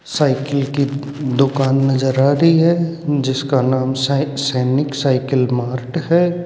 Cycle की दुकान नजर आ रही है जिसका नाम साइ सैनिक साइकिल मार्ट है।